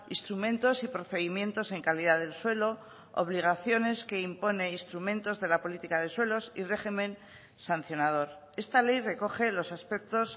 instrumentos y procedimientos en calidad del suelo obligaciones que imponen instrumentos de la política de suelos y régimen sancionador esta ley recoge los aspectos